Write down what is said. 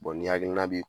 ni hakilina bi